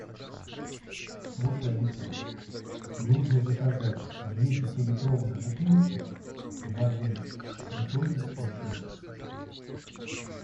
слушай алиса нужно заказать две пятилитровых бутылки воды святой источник